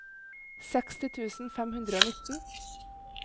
seksti tusen fem hundre og nitten